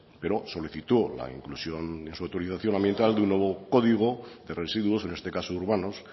pero solicitó la inclusión en su autorización ambiental de un nuevo código de residuos en este caso urbanos